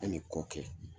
An bɛ kɔ kɛ